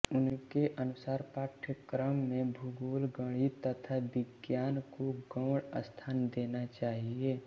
उनके अनुसार पाठ्यक्रम में भूगोल गणित तथा विज्ञान को गौण स्थान देना चाहिये